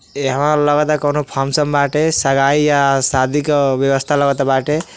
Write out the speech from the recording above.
एहवा लगत कउनो फंगक्शन बाटे। सगाई या शादी के व्यवस्था लगल बाटे।